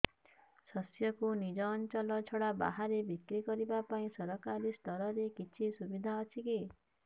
ଶସ୍ୟକୁ ନିଜ ଅଞ୍ଚଳ ଛଡା ବାହାରେ ବିକ୍ରି କରିବା ପାଇଁ ସରକାରୀ ସ୍ତରରେ କିଛି ସୁବିଧା ଅଛି କି